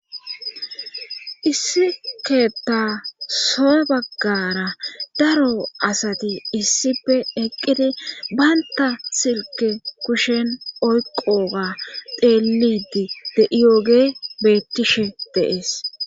issi keetta soa baggara daro asati issipe eqqidi baynta silke kushen oyqoga deelidi de iyooge bettishe deees